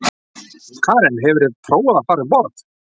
Karen: Hefurðu prófað að fara um borð?